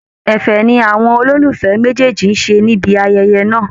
Ẹ̀fẹ̀ ni àwọn olólùfẹ́ méjèèjì ṣé níbi ayẹyẹ náà